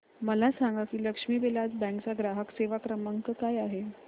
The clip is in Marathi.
मला सांगा की लक्ष्मी विलास बँक चा ग्राहक सेवा क्रमांक काय आहे